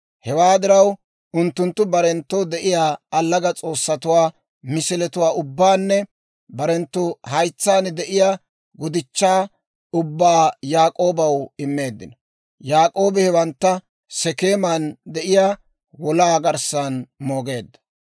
Hewaa diraw unttunttu barenttoo de'iyaa allaga s'oossatuwaa misiletuwaa ubbaanne barenttu haytsaan de'iyaa gudichchaa ubbaa Yaak'oobaw immeeddino; Yaak'oobi hewantta Sekeeman de'iyaa wolaa garssan moogeedda.